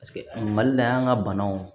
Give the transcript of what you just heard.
mali la yan ka banaw